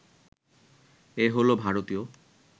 এ হলো ভারতীয়